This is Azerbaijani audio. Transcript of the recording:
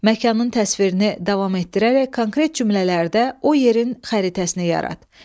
Məkanın təsvirini davam etdirərək konkret cümlələrdə o yerin xəritəsini yarat.